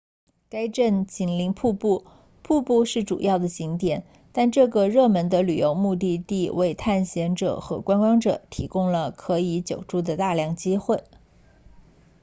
该镇紧邻瀑布瀑布是主要的景点但这个热门的旅游目的地为探险者和观光者提供了可以久住的大量机会